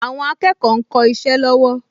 Àwọn akẹ́kọ̀ọ ń kọ isẹ́ lọ́wọ́